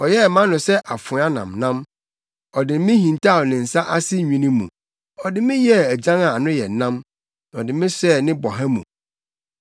Ɔyɛɛ mʼano sɛ afoa nnamnam, Ɔde me hintaw ne nsa ase nwini mu; ɔde me yɛɛ agyan a ano yɛ nnam na ɔde me hyɛɛ ne boha mu.